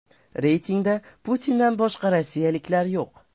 Reytingda Putindan boshqa rossiyaliklar yo‘q.